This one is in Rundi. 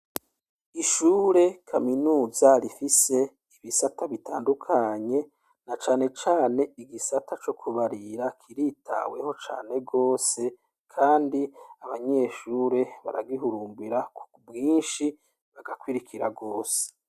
Ishure kaminuza rifise ibisata bitandukanye na cane cane igisata co kubarira kiritaweho canerwose kandi abanyeshure baragihurumbira ku bwinshi, barakurikira rwose.